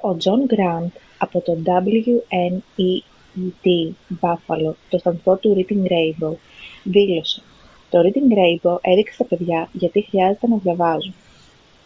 ο τζον γκραντ από το wned buffalo τον σταθμό του reading rainbow δήλωσε: «το reading rainbow έδειξε στα παιδιά γιατί χρειάζεται να διαβάζουν